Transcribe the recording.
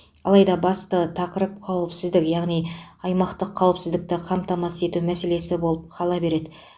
алайда басты тақырып қауіпсіздік яғни аймақтық қауіпсіздікті қамтамасыз ету мәселесі болып қала береді